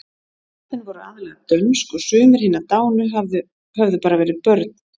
Nöfnin voru aðallega dönsk og sumir hinna dánu höfðu bara verið börn.